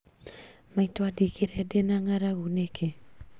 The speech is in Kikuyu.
Maitũ andigire ndĩna ngaragu nĩkĩ?